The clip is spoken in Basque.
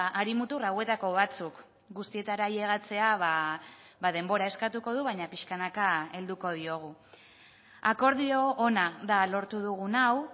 hari mutur hauetako batzuk guztietara ailegatzea denbora eskatuko du baina pixkanaka helduko diogu akordio ona da lortu dugun hau